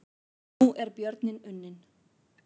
Nú er björninn unninn